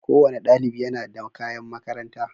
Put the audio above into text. Kowane ɗaliɓ yana da kaƴan maƙaranta